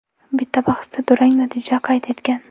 Bitta bahsda durang natija qayd etgan.